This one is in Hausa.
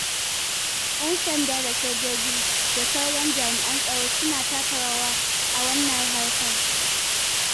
Yan sanda da sojoji da sauran jami'an tsaro suna taka rawa a wannan harka.